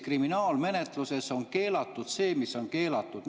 Kriminaalmenetluses on keelatud see, mis on keelatud.